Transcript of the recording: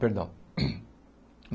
Perdão.